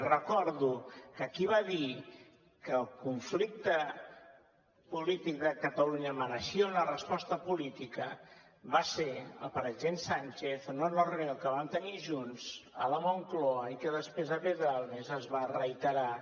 i recordo que qui va dir que el conflicte polític de catalunya mereixia una resposta política va ser el president sánchez en una reunió que vam tenir junts a la moncloa i que després a pedralbes es va reiterar